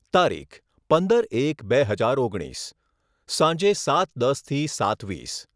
તારીખઃ પંદર એક બે હજાર ઓગણીસ. સાંજે સાત દસથી સાત વીસ